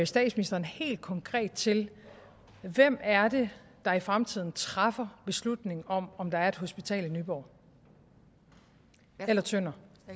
statsministeren helt konkret til hvem er det der i fremtiden træffer beslutning om om der er et hospital i nyborg eller tønder